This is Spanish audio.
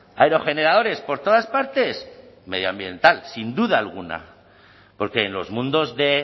aerogeneradores por todas partes medioambiental sin duda alguna porque en los mundos de